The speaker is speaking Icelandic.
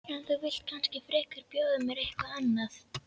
En þú vilt kannski frekar bjóða mér eitthvað annað?